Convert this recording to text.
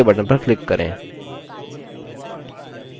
और ok button पर click करें